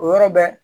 O yɔrɔ bɛ